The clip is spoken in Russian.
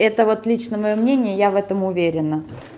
это вот лично моё мнение я в этом уверена